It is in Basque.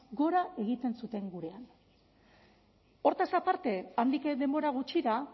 gora egiten zuten gurean horretaz aparte handik denbora gutxira